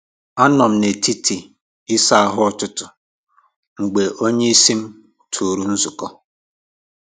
A m nọ nọ n’etiti isa ahu ụtụtụ m mgbe onyeisi m tụrụ nzukọ